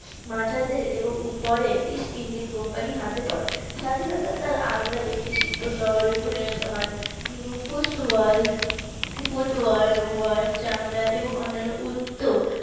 মাঠারা দের এবং উপরে ইস্ট ইন্ডিয়ান কোম্পানির হাতে পরে স্বাধীনতার তার আগ্রা একটি শিল্প শহরে পরিণত হয় ফুস্ট ওয়ার্ড ফুটওয়ার্ড এবং চামড়া এবং অন্যান্য উত্ত